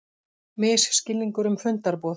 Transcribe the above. Misskilningur um fundarboð